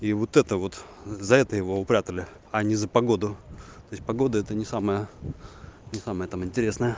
и вот это вот за это его упрятали а не за погоду то есть погода это не самое не самое там интересное